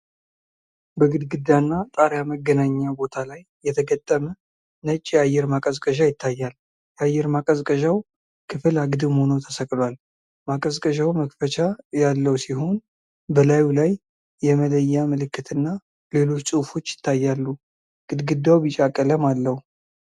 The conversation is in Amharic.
በግድግዳና ጣሪያ መገናኛ ቦታ ላይ የተገጠመ ነጭ የአየር ማቀዝቀዣ ይታያል። የአየር ማቀዝቀዣው ክፍል አግድም ሆኖ ተሰቅሏል። ማቀዝቀዣው መክፈቻ ያለው ሲሆን፣ በላዩ ላይ የመለያ ምልክትና ሌሎች ጽሑፎች ይታያሉ። ግድግዳው ቢጫ ቀለም አለው።